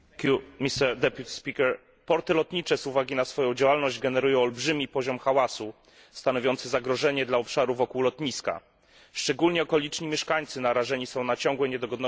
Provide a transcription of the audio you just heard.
Panie Przewodniczący! Porty lotnicze z uwagi na swoją działalność generują olbrzymi poziom hałasu stanowiący zagrożenie dla obszarów wokół lotniska. Szczególnie okoliczni mieszkańcy są narażeni na ciągłe niedogodności z tym związane.